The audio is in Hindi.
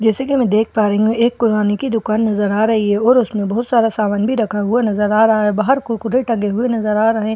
जैसे कि मैं देख पा रही हूं एक कुराने की दुकान नजर आ रही है और उसमें बहुत सारा सामान भी रखा हुआ नजर आ रहा है बाहर कुरकुरे टंगे हुए नजर आ रहे हैं और उन--